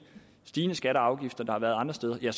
stigende skatter og afgifter der har været andre steder har